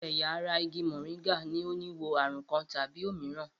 Gbogbo ẹ̀yà ara igi mòríngà ní o ni wo ààrùn kan tàbí òmíràn